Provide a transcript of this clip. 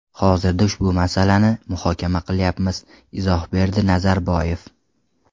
Hozirda ushbu masalani muhokama qilyapmiz”, izoh berdi Nazarboyev.